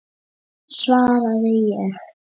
svaraði ég.